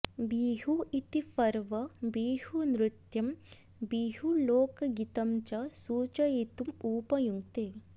बिहु इति पर्व बिहुनृत्यं बिहुलोक्गीतं च सूचयितुम् उपयुङ्क्ते